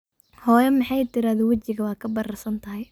Xoyo maxay tirade wajiga wakabararsanthy.